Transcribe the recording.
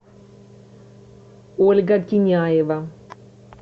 ольга киняева